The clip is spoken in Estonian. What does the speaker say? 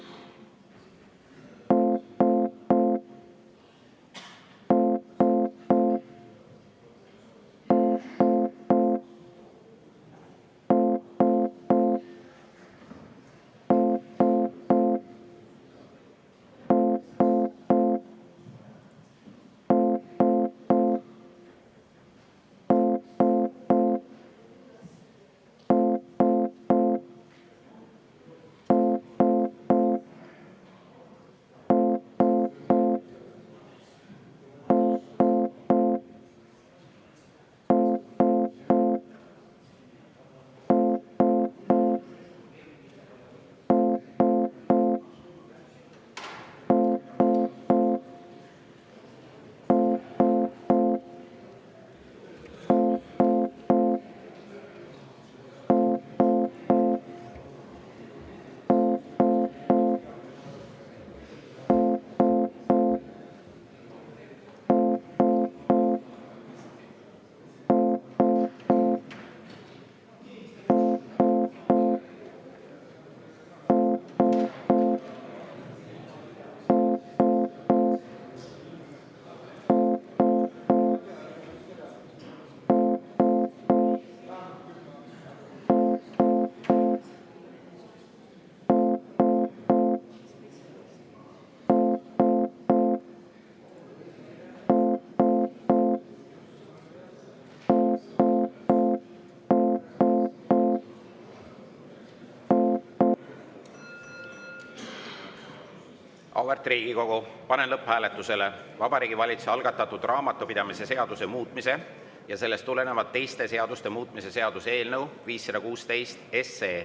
Auväärt Riigikogu, panen lõpphääletusele Vabariigi Valitsuse algatatud raamatupidamise seaduse muutmise ja sellest tulenevalt teiste seaduste muutmise seaduse eelnõu 516.